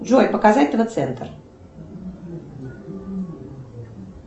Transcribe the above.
джой показать тв центр